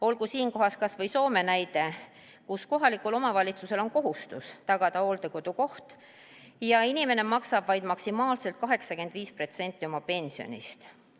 Olgu siinkohal kas või Soome näide, kus kohalikul omavalitsusel on kohustus tagada hooldekodukoht ja inimene maksab vaid maksimaalselt 85% oma pensionist.